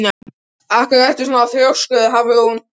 Af hverju ertu svona þrjóskur, Hafrún?